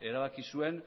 erabaki zuen